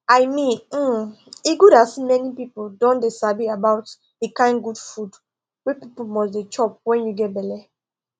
i meanhmmm e good as many people don dey sabi about the kind good food wey people must dey chop when you get belle